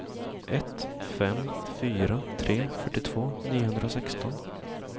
ett fem fyra tre fyrtiotvå niohundrasexton